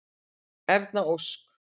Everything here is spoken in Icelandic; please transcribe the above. Erna Ósk.